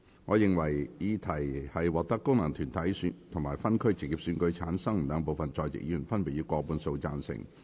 我認為議題獲得經由功能團體選舉產生及分區直接選舉產生的兩部分在席議員，分別以過半數贊成。